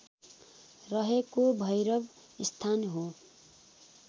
रहेको भैरवस्थान हो